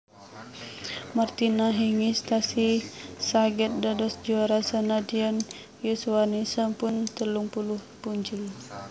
Martina Hingis tasih saget dados juara senadyan yuswane sampun telung puluh punjul